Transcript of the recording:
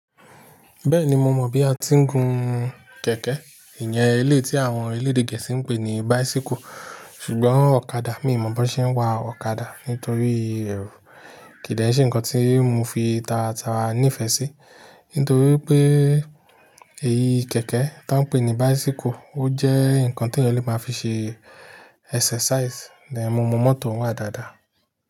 Bẹ́ẹ̀ni mo mọ̀ bí a ti ń gun kẹ̀kẹ́, ìyẹn eléyi tí àwọn elédè Gẹ̀ẹ́sì ń pè ní bicycle. Ṣùgbọ́n ọ̀kadà mi ò mọ̀ bó ṣe ń wa ọ̀kadà nítorí kìn dé ṣe ńkan tí mo fi tara tara ní ìfẹ́ sí. Nítorí pé èyí kẹ̀kẹ́ tí wọ́n ń pè ní bicycle, ó jẹ́ ńkan tí ènìyàn lè máa fi ṣe exercise, then, mo mọ mọ́tò ń wá dáadáa.